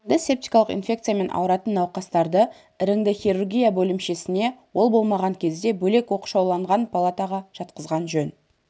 іріңді-септикалық инфекциямен ауыратын науқастарды іріңді хирургия бөлімшесіне ол болмаған кезде бөлек оқшауланған палатаға жатқызған жөн